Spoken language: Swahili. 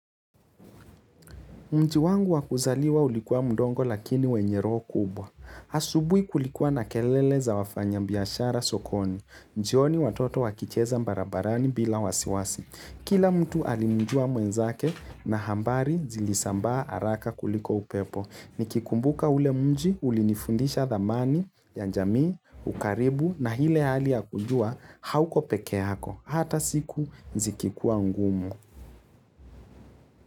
Mji wangu wakuzaliwa ulikuwa mdogo lakini wenye roho kubwa. Asubui kulikuwa na kelele za wafanya biashara sokoni. Njioni watoto wakicheza mbarabarani bila wasiwasi. Kila mtu alimjua mwenzake na hambari zilisambaa araka kuliko upepo. Nikikumbuka ule mji ulinifundisha dhamani, ya njamii, ukaribu na ile hali ya kujua hauko pekeyako. Hata siku zikikuwa ngumu.